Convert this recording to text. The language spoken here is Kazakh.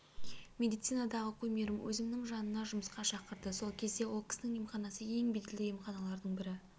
медицинадағы кумирім өзінің жанына жұмысқа шақырды сол кезде ол кісінің емханасы ең беделді емханалардың бірі